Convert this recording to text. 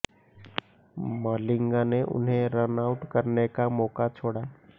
मलिंगा ने उन्हें run out करने का मौका छोड़ा